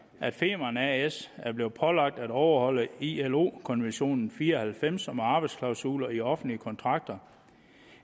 at femern as er blevet pålagt at overholde ilo konvention nummer fire og halvfems om arbejdsklausuler i offentlige kontrakter